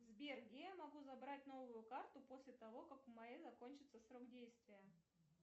сбер где я могу забрать новую карту после того как у моей закончится срок действия